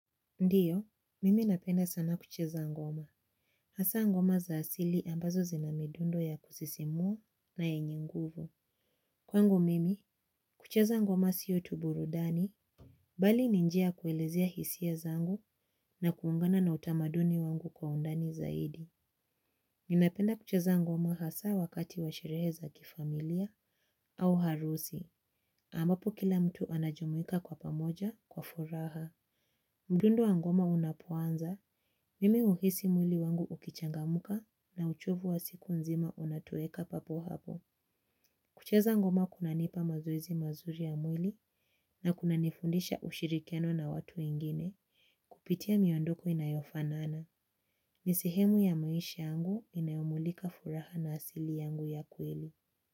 Ndiyo, mimi napenda sana kucheza ngoma. Hasa ngoma za asili ambazo zina midundo ya kusisimua na yenye nguvu. Kwangu mimi, kucheza ngoma siyo tu burudani. Bali ni njia kuelezia hisia zangu na kuungana na utamaduni wangu kwa undani zaidi. Ninapenda kucheza ngoma hasa wakati washerehe za kifamilia au harusi. Ambapo kila mtu anajumuika kwa pamoja kwa furaha. Mdundo wa ngoma unaponza. Mimi uhisi mwili wangu ukichangamuka na uchovu wa siku nzima unatoeka papo hapo. Kucheza ngoma kunanipa mazoizi mazuri ya mwili na kuna nifundisha ushirikiano na watu wengine kupitia miondoko inayofanana. Ni sehemu ya maisha angu inayomulika furaha na asili yangu ya kweli.